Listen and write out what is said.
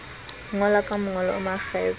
ngola ka mongolo o makgethe